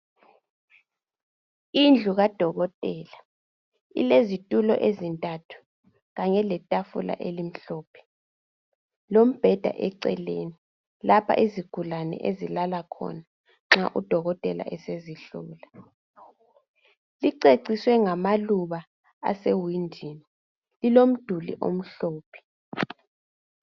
Indlu kadokotela ilezitulo ezintathu kanye letafula elimhlophe. Kulombheda eceleni lapho izigulane ezilala khona nxa sezihlolwa. Iceciswe ngamaluba asewindini ilomduli omhlophe.